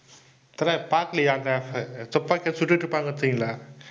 தல பாக்கலையா? அங்க துப்பாக்கில சுட்டுட்டிருப்பாங்க